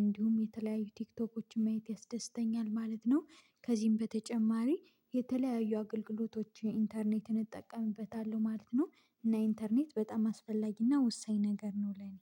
እንዲሁም የተለያዩ ቲክቶኮችን ማየት ያስደስተኛል ማለት ነው። ከዚህም በተጨማሪ የተለያዩ አገልግሎቶች ኢንተርኔትን እጠቀምበታለሁ ማለት ነው። እና ኢንተርኔት በጣም አስፈላጊና ወሳኝ ነገር ነው ለኔ